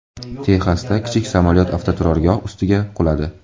Texasda kichik samolyot avtoturargoh ustiga quladi.